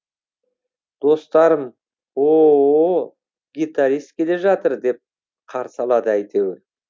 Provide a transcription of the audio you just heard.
достарым о о о гитарист келе жатыр деп қарсы алады әйтеуір